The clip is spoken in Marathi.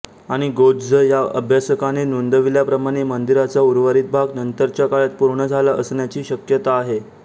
आणि गोत्झ या अभ्यासकाने नोंदविल्याप्रमाणे मंदिराचा उर्वरित भाग नंतरच्या काळात पूर्ण झाला असण्याची शक्यता आहे